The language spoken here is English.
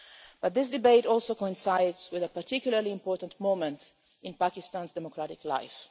But this debate also coincides with a particularly important moment in Pakistan's democratic life.